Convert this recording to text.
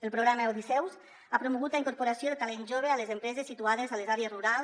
el programa odisseu ha promogut la incorporació de talent jove a les empreses situades a les àrees rurals